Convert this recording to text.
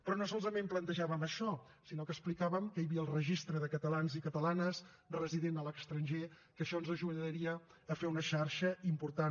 però no solament plantejàvem això sinó que explicàvem que hi havia el registre de catalans i catalanes residents a l’estranger que això ens ajudaria a fer una xarxa important